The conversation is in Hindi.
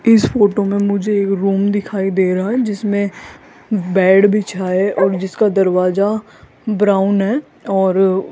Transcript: इस फोटो में मुझे एक रूम दिखाई दे रहा है जिसमें बेड बिछा है और जिसका दरवाजा ब्राउन है और --